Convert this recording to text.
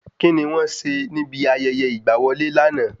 Kíni wọ́n ṣe níbi ayẹyẹ ìgbà wọlé lànà?